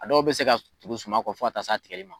A dɔw bɛ se ka tugu suma kɔ fo ta s'a tigɛli ma.